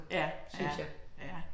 Ja, ja, ja